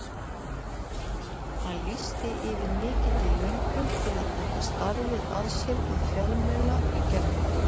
Hann lýsti yfir mikilli löngun til að taka starfið að sér við fjölmiðla í gærkvöldi.